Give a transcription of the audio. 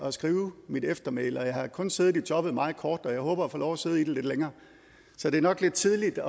at skrive mit eftermæle jeg har kun siddet i jobbet i meget kort tid og jeg håber at få lov at sidde i det lidt længere så det er nok lidt tidligt at